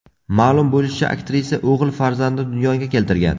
Ma’lum bo‘lishicha, aktrisa o‘g‘il farzandni dunyoga keltirgan.